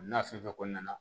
N'a fɛn fɛn kɔni nana